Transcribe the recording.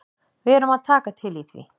Við erum að taka til í því.